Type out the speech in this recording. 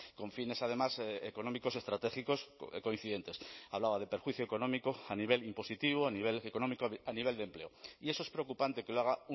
con fines además económicos estratégicos coincidentes hablaba de perjuicio económico a nivel impositivo a nivel económico a nivel de empleo y eso es preocupante que lo haga